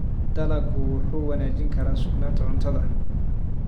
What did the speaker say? Dalaggu wuxuu wanaajin karaa sugnaanta cuntada.